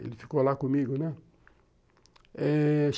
Ele ficou lá comigo, né?